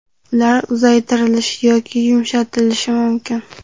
ular uzaytirilishi yoki yumshatilishi mumkin.